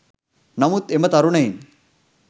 නමුත් එම තරුණයින්